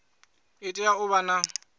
i tea u vha na